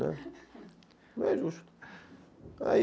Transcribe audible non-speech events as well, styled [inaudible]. Né, [laughs] não é justo.